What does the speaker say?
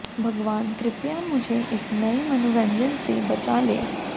भगवान कृपया मुझे इस नए मनोरंजन से बचा ले